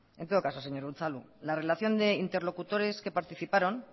en todo caso señor unzalu la relación de interlocutores que participaron